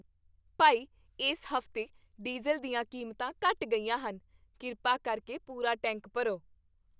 ਭਾਈ, ਇਸ ਹਫ਼ਤੇ ਡੀਜ਼ਲ ਦੀਆਂ ਕੀਮਤਾਂ ਘਟ ਗਈਆਂ ਹਨ। ਕਿਰਪਾ ਕਰਕੇ ਪੂਰਾ ਟੈਂਕ ਭਰੋ।